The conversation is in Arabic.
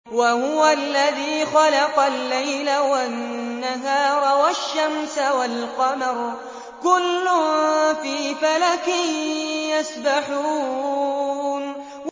وَهُوَ الَّذِي خَلَقَ اللَّيْلَ وَالنَّهَارَ وَالشَّمْسَ وَالْقَمَرَ ۖ كُلٌّ فِي فَلَكٍ يَسْبَحُونَ